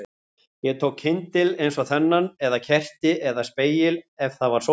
Ég tók kyndil eins og þennan eða kerti, eða spegil ef það var sólskin